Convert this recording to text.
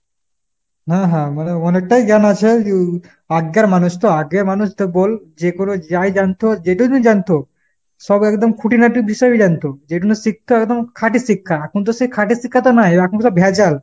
হ্যাঁ হ্যাঁ। মানে অনেকটাই জ্ঞান আছে । আগ্গের মানুষ তো আগ্গের মানুষ তু বোল যে কোনো যাই জানতো যেটুনু জানতো সব একদম খুঁটিনাটি বিষয়ে জানতো। যেটুনু শিক্ষা একদম খাঁটি শিক্ষা। এখন তো সে খাঁটি শিক্ষা তো নাই, এখনতো সব ভেজাল।